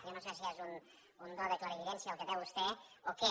jo no sé si és un do de clarividència el que té vostè o què